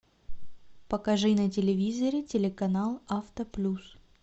покажи на телевизоре телеканал авто плюс